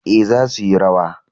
Ee, za suyi rawa.